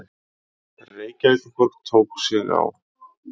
Reykjavíkurborg tók sig á.